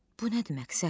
Bu nədir məqsəd?